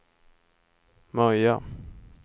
Möja